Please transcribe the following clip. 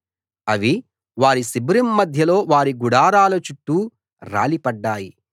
అవి వారి శిబిరం మధ్యలో వారి గుడారాల చుట్టూ రాలి పడ్డాయి